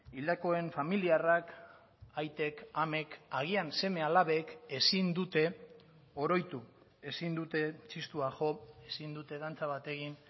hildakoen familiarrak aitek amek agian seme alabek ezin dute oroitu ezin dute txistua jo ezin dute dantza bat egin